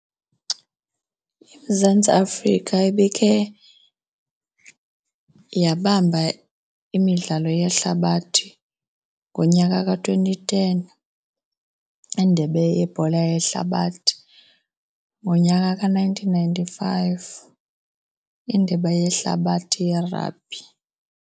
IMzantsi Afrika ibikhe yabamba imidlalo yehlabathi ngonyaka ka-twenty ten, indebe yebhola yehlabathi, ngonyaka ka-nineteen ninety-five, indebe yehlabathi yerabhi.